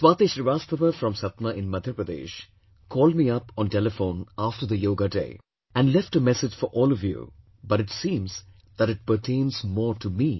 Swati Srivastava from Satna in Madhya Pradesh, called me up on telephone after the Yoga Day and left a message for all of you but it seems that it pertains more to me